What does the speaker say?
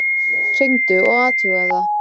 Hringdu og athugaðu það.